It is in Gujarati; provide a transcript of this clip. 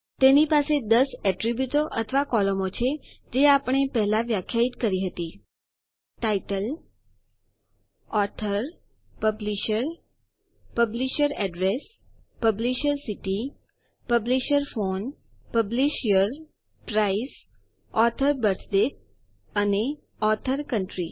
તેની પાસે ૧૦ એટ્રીબ્યુટો અથવા કોલમો છે જે આપણે પહેલા વ્યખ્યાયિત કરી હતી title author publisher publisher address publisher city publisher phone publisher price author birth date અને ઓથોરકાઉન્ટ્રી